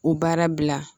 O baara bila